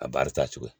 A baara taa cogo